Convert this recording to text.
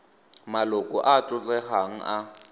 maloko a a tlotlegang a